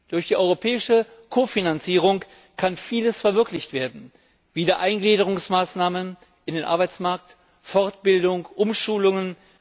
Durch die Europäische Ko Finanzierung kann vieles verwirklicht werden Wiedereingliederungsmaßnahmen in den Arbeitsmarkt, Fortbildung, Umschulungen.